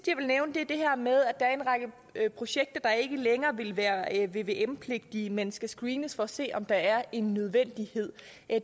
jeg nævne det her med at der er en række projekter der ikke længere vil være vvm pligtige men skal screenes for at se om der er en nødvendighed